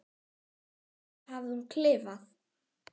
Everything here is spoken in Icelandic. Á þessu hafði hún klifað.